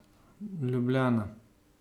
Ljubljana.